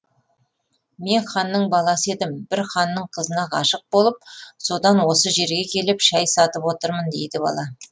мен ханның баласы едім бір ханның қызына ғашық болып содан осы жерге келіп шай сатып отырмын дейді бала